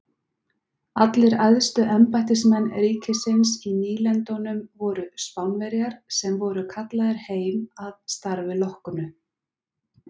Allir æðstu embættismenn ríkisins í nýlendunum voru Spánverjar sem voru kallaðir heim að starfi loknu.